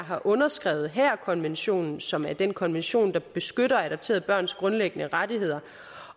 har understreget haagerkonvention som er den konvention der beskytter adopterede børns grundlæggende rettigheder